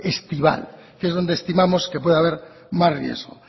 estival que es donde estimamos que puede haber más riesgo